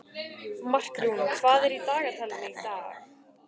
Markrún, hvað er í dagatalinu í dag?